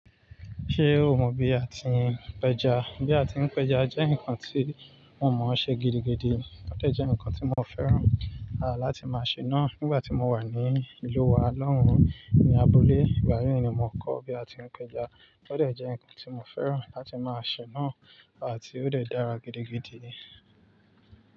Ṣé o mọ bí a ti ń péja? Bí a ti ń péja jẹ́ nǹkan tí mo mọ̀ ọ́n ṣe gidigidi óò dẹ́ jẹ́ nǹkan tí mo fẹ́ràn láti máa ṣe náà. Nígbà tí mo wà ní ìlú wa lọ́hùn-ní abúlé, ìgbayii ni mo kọ́ bí a ti ń péja. Ó dẹ́ jẹ́ nǹkan tí mo fẹ́ràn láti máa ṣe náà àti ó tẹ́ dára gidigidi.